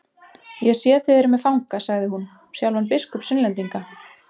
Ég sé þið eruð með fanga, sagði hún, sjálfan biskup Sunnlendinga.